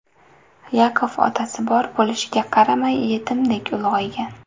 Yakov otasi bor bo‘lishiga qaramay yetimdek ulg‘aygan.